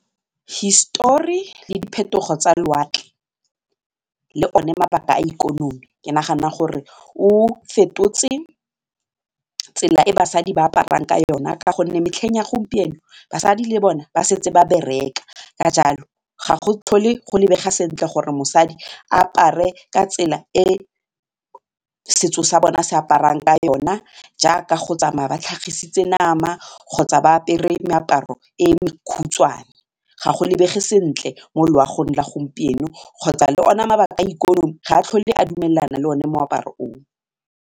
Hisetori le diphetogo tsa le one mabaka a ikonomi ke nagana gore o fetotse tsela e basadi ba aparang ka yone ka gonne metlheng ya gompieno basadi le bone ba setse ba bereka, ka jalo ga go tlhole go lebega sentle gore mosadi apare ka tsela e setso sa bona se aparang ka yona jaaka go tsamaya ba tlhagisitse nama go kgotsa ba apere meaparo e mekhutshwane, ga go lebege sentle mo loagong la gompieno kgotsa le ona mabaka a ikonomi ga a tlhole a dumelana le one moaparo o.